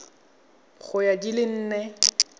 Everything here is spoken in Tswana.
ya go di le nne